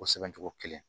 O sɛbɛn cogo kelen